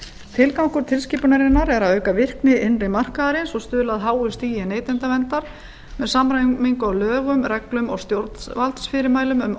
tilgangur tilskipunarinnar er að auka virkni innri markaðarins og stuðla að háu stigi neytendaverndar með samræmingu á lögum reglum og stjórnvaldsfyrirmælum um